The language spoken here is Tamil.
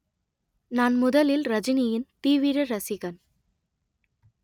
நான் முதலில் ரஜினியின் தீவிர ரசிகன்